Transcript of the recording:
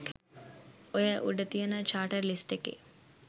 ඔය උඩ තියෙන චාටර් ලිස්ට් එකේ